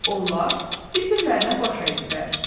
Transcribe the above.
Onlar bir-birlərinə baş əydilər.